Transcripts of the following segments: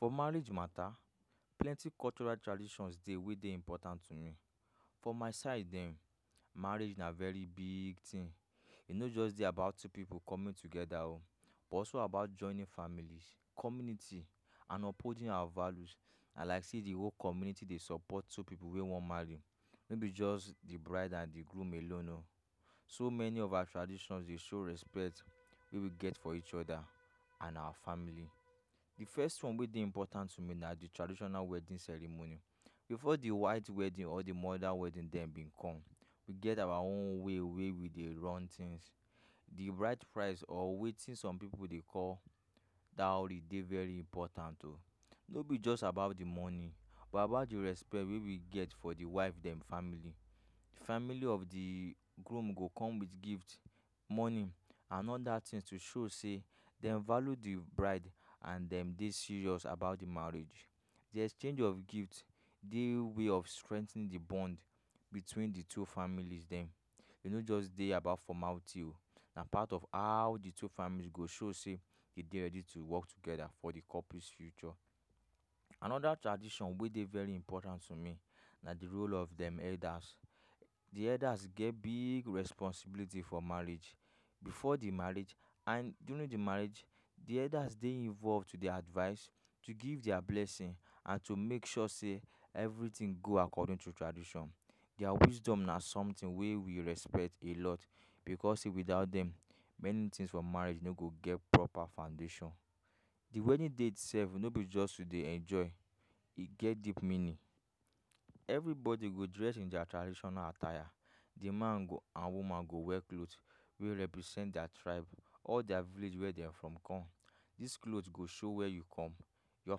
For marriage matta, plenty cultural traditions dey wey dey important to me. For my side ehn, marriage na very biig tin. E no just dey about two pipu coming togeda o, but also about joining family, community and upholding our values. Na like say di whole community dey support two pipu wey wan marry. No be just di bride and di groom alone o. So many of our traditions dey show respect wey we get for each oda and our family. Di first one wey dey important to me na di traditional wedding ceremony bifor di white wedding or di modern wedding dem cum, we get our own way wey we dey run tins. Di bride price or wetin some pipu dey call dowry, de very important o. No be just about di money but about di respect wey we get for di wife dem family. Di family of dii groom go come wit gift, money and oda tins to show say dem value di bride and dem dey serious about di marriage. di exchange of gift dey way of strengthening di bond between di two familys dem. E no just dey about formality o, na part of how di two families go show say e dey ready to work together for di couples future. Anoda tradition wey dey very important to me na di role of dem elders. Di elders get biig responsibility for marriage bifor di marriage and during di marriage. Di elders dey involve to dey advice, to give dia blessing and to make sure say evritin go according to tradition. Dia wisdom na somtin wey we respect a lot bicos sey without dem many tins for marriage no go get proper foundation. Di wedding date sef no be just to dey enjoy, e get deep meaning. Evri bodi go dress in dia traditional attire. Di man go and woman go wear cloth wey represent dia tribe, all dia village wey dem from come. Dis clothes go show wia you come, your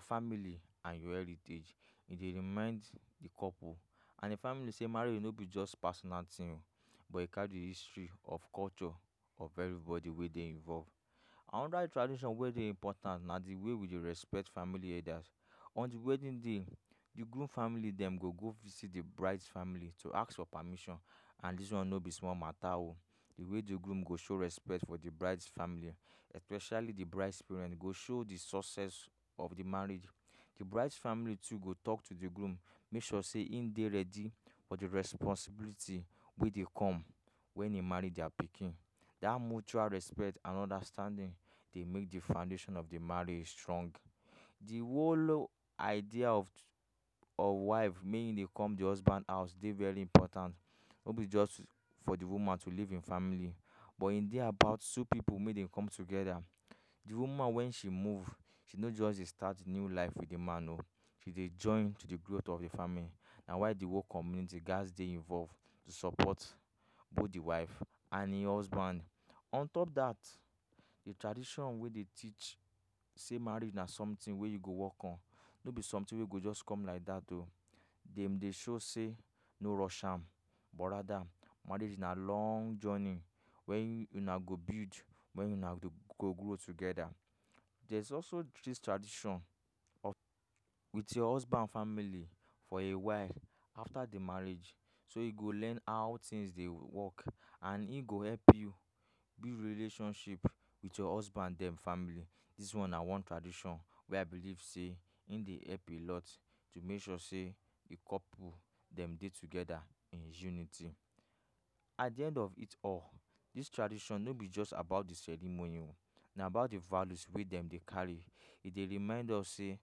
family and your heritage. E dey remind di couple and di family say marriage no be just personal tin but e carry history of culture for evri bodi wey dey involve. Anoda tradition wey dey important na di way we dey respect family elders. On di wedding day, di groom family dem go go visit di brides family to ask for permission and dis one no be small matta o. Di way di groom go show respect for di brides family especially di bride's parents go show di success of di marriage. Di bride family too go tok to di groom make sure say im dey ready for di responsibility wey dey come wen im marry dia pikin. Dat mutual respect and understanding dey make di foundation of di marriage strong. Di whole idea of of wife make im dey come di husband house dey very important. No be just for di woman to live in family but im dey about two pipu make dem come togeda. Di woman wen she move she no just dey start new life with di man o, she dey join to dey growth of di family. Na why di whole community gats dey involve to support both di wife and im husband. On top dat, di tradition wey dey teach say marriage na somtin wey you go wok on. No be somtin wey go just come like dat o. Dem dey show say no rush am but rather marriage na long journey wen una go build, wen una go[] grow togeda. Dere is also dis tradition of staying wit your husband family for a while afta di marriage so e go learn how tins dey wok and im go help you build relationship wit your husband dem family. Dis one na one tradition wey I believe say im dey help a lot. To make sure say di couple dem dey togeda in unity. At di end of it all, dis tradition no be just about di ceremony o. Na about di values wey dem dey carry. E dey remind us say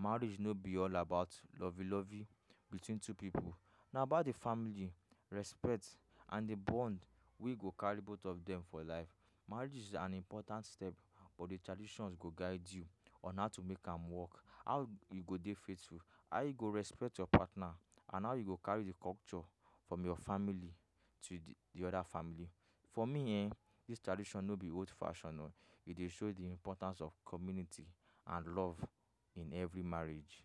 marriage no be all about lovey lovey between two pipu. Na about di family, respect and di bond wey go carry both of dem for life. Marriage is an important step but di traditions go guide you on how to make am wok, how you go dey faithful, how you go respect your partner and how you go carry di culture from your family to di oda family. For me ehn, dis tradition no be old fashion o. E dey show di importance of community and love in evri marriage.